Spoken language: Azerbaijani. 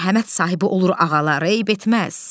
Mərhəmət sahibi olur ağalar, eyib etməz.